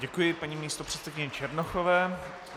Děkuji paní místopředsedkyni Černochové.